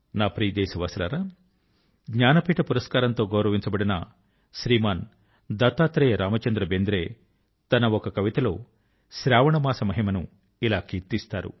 నా ప్రియ దేశవాసులారా జ్ఞానపీఠ పురస్కారం తో గౌరవించబడిన శ్రీమాన్ దత్తాత్రేయ రామచంద్ర బెంద్రే తన ఒక కవిత లో శ్రావణ మాస మహిమ ను ఇలా కీర్తిస్తారు